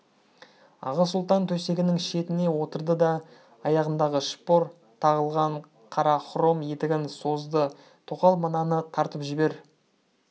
аға сұлтан төсегінің шетіне отырды да аяғындағы шпор тағылған қара хром етігін созды тоқал мынаны тартып жібер